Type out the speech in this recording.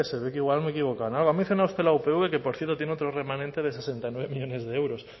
no sé se ve que igual me he equivocado en algo ha mencionado usted la upv que por cierto tiene otro remanente de sesenta y nueve millónes de euros